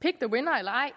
pick the winner eller ej